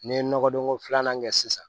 N'i ye nɔgɔdon ko filanan kɛ sisan